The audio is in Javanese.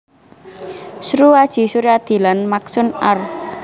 Sru Adji Suryadi lan Maqsun Arr